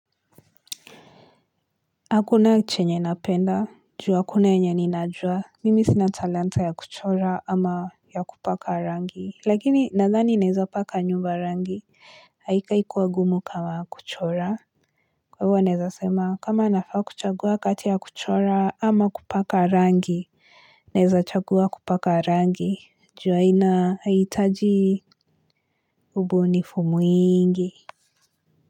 Hakuna chenye napenda, ju hakuna yenye ninajua, mimi sina talanta ya kuchora ama ya kupaka rangi, lakini nadhani naeza paka nyumba rangi, haikai kuwa gumu kama kuchora. Kwa hivo naweza sema, kama nafaa kuchagua kati ya kuchora ama kupaka rangi, neza chagua kupaka rangi, juu haina haitaji ubunifumu mwingi.